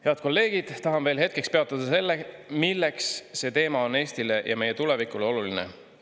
Head kolleegid, tahan veel hetkeks peatuda sellel, milleks see teema on Eestile ja meie tulevikule oluline.